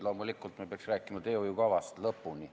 Loomulikult me peaks rääkima teehoiukavast lõpuni.